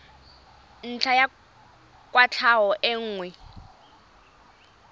ntlha ya kwatlhao e nngwe